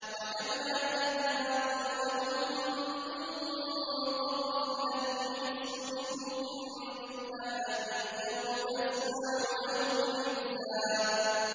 وَكَمْ أَهْلَكْنَا قَبْلَهُم مِّن قَرْنٍ هَلْ تُحِسُّ مِنْهُم مِّنْ أَحَدٍ أَوْ تَسْمَعُ لَهُمْ رِكْزًا